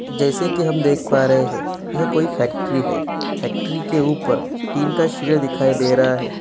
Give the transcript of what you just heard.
जैसी की हम देख पा रहे हैं ये कोई फैक्ट्री है फैक्ट्री के ऊपर टीन का शेड दिखाई दे रहा है।